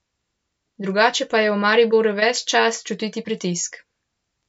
Drugače pa je v Mariboru ves čas čutiti pritisk.